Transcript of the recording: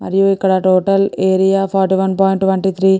మరియు ఇక్కడ total area forty one point twenty three .